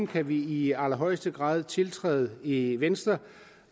kan vi i allerhøjeste grad tiltræde i venstre